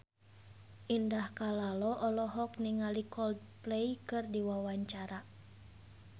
Indah Kalalo olohok ningali Coldplay keur diwawancara